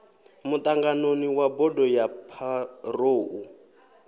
muṱanganoni wa bodo ya pharou